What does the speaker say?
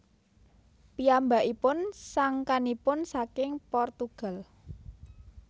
Piyambakipun sangkanipun saking Portugal